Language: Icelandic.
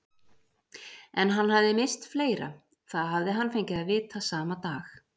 En hann hafði misst fleira, það hafði hann fengið að vita sama dag.